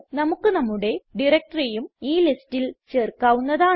നമുക്ക് നമ്മുടെ directoryഉം ഈ ലിസ്റ്റിൽ ചേർക്കാവുന്നതാണ്